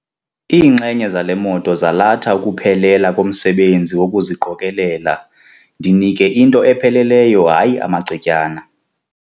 Iinxenye zale moto zalatha ukuphelela komsebenzi wokuziqokelela. ndinike into epheleleyo hayi amacetyana